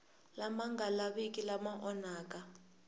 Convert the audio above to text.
lama nga lavikiki lama onhaka